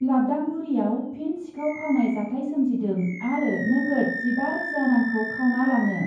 लाबदांगुरियाव फिन सिखाव खावनाय जाथाय सोमजिदों आरो नोगोद जिबा रोजा रांखौ खावना लाङो ।